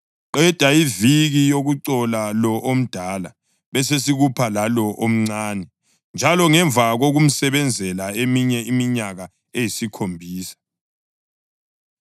Qeda iviki yokucola lo omdala; besesikupha lalo omncane njalo ngemva kokumsebenzela eminye iminyaka eyisikhombisa.”